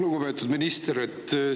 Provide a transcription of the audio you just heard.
Lugupeetud minister!